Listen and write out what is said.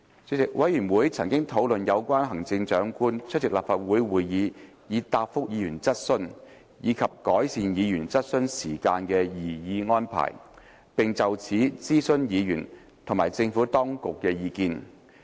主席，委員會曾討論有關行政長官出席立法會會議以答覆議員質詢，以及改善議員質詢時間的擬議安排，並就此徵詢議員和政府當局的意見。